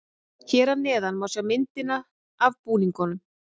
Hér að neðan má sjá myndina af búningunum.